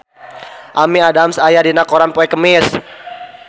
Amy Adams aya dina koran poe Kemis